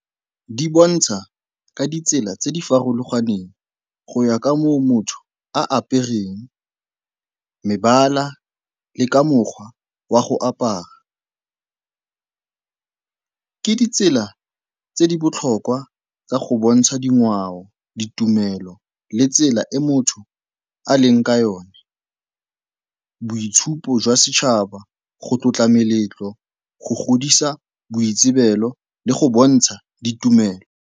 Di bontsha ka ditsela tse di farologaneng go ya ka moo motho a apereng, mebala le ka mokgwa wa go apara. Ke ditsela tse di botlhokwa tsa go bontsha dingwao, ditumelo le tsela e motho a leng ka yone, boitshupo jwa setšhaba, go tlotla meletlo, go godisa boitsibelo le go bontsha ditumelo.